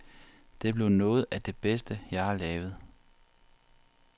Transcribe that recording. Det blev noget af det bedste, jeg har lavet.